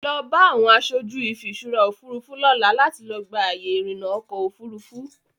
Lọ bá àwọn aṣojú ìfiṣúra Òfurufú lọ́la láti lọ gba àyè ìrìnà ọkọ Òfurufú.